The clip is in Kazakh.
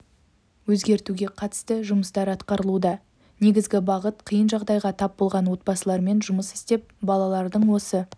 өзгертуге қатысты жұмыстар атқарылуда негізгі бағыт қиын жағдайға тап болған отбасылармен жұмыс істеп балалардың осы